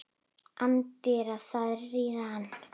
Anddyri það er í rann.